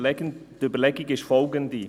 Die Überlegung ist folgende: